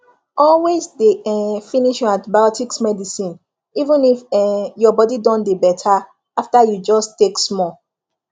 always dey um finish your antibiotics medicine even if um your body don dey better after you just take small